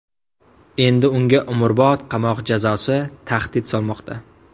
Endi unga umrbod qamoq jazosi tahdid solmoqda.